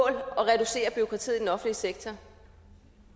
at reducere bureaukratiet i den offentlige sektor